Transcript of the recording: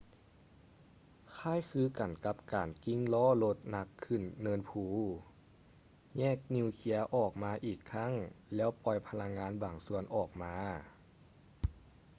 ຄ້າຍຄືກັນກັບການກິ້ງລໍ້ລົດໜັກຂຶ້ນເນີນພູ ແຍກນີວເຄຍອອກມາອີກຄັ້ງແລ້ວປ່ອຍພະລັງງານບາງສ່ວນອອກມາ